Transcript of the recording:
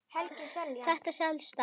Þetta selst allt.